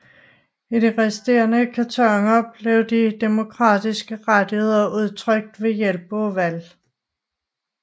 I de resterende kantoner bliver de demokratiske rettigheder udtrykt ved hjælp af valg